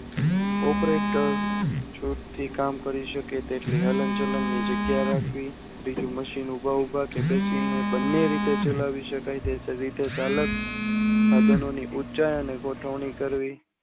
operator છુટ થી કામ કરી શકે તેટલી હલન ચાલન ની જગ્યા રાખવી તેથી machine ઉભા ઉભા કે તેથી ગમે રીતે ચાવી શકાય તો તે રીતે સાધનોની ઉંચાઈ અને ગોઠવણી